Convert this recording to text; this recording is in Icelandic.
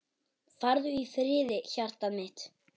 Farðu í friði hjartað mitt.